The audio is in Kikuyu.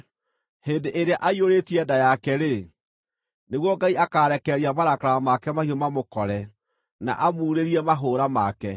Hĩndĩ ĩrĩa aiyũrĩtie nda yake-rĩ, nĩguo Ngai akaarekereria marakara make mahiũ mamũkore na amuurĩrie mahũũra make.